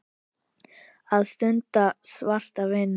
Að stunda svarta vinnu.